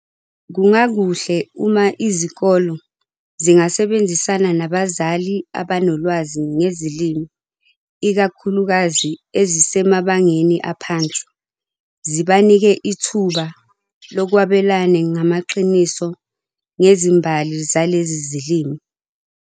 kungakuhle uma izikolo zingasebenzisana nabazali abanolwazi ngezilimi ikakhulukazi ezisemabangeni aphansi, zibanike ithuba lokwabelane ngamaqiniso ngezimbali zalezi zilimi.